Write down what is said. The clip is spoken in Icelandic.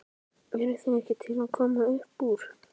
Eruð þið ekki til í að koma uppúr?